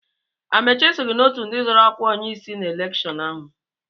Amaechi esoghị n'ọtụ ndị zọ́rọ́ ọ́kwá onyeisi na elekshọn ahụ.